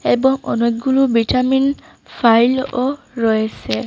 এবং অনেকগুলো ভিটামিন ফাইল ও রয়েসে।